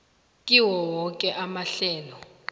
kiwo woke amahlelo